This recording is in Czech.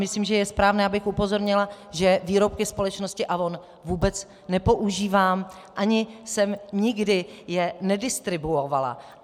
Myslím, že je správné, abych upozornila, že výrobky společnosti Avon vůbec nepoužívám ani jsem je nikdy nedistribuovala.